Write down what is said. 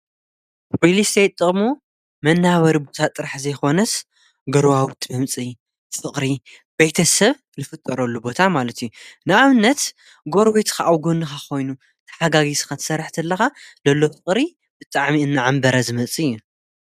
ሪልስቴት ጥቕሙ መናበሪ ጥራሕ ዘይኾነስ ገሩዋውቲ መምፂኢ ፍቕሪ ቤተሰብ ልፍጠረሉ ቦታ ማለት ንኣብነት ጐርቤትኻ ኣብ ጐንካ ኾይኑ ተሓጋጊዝኻ ትሰርሕ ተለኻ ለሎ ፍቕሪ ብጣዕሚ እናዓንበረ ዝመፅ እዩ።